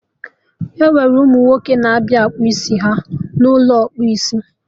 Enwere ụmụ nwoke na-abịa akpa isi n'ụlọ ịkpụ isi